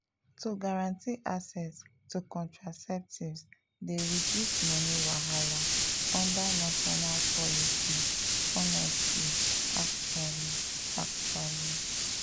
to guarantee access to contraceptives dey reduce money wahala under national policy honestly actually actually.